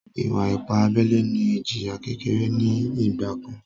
Ìwà-ipá abẹ́lẹ́ ní ìjìyà kékeré ní ìgbà kan